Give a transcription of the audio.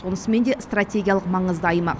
сонысымен де стратегиялық маңызды аймақ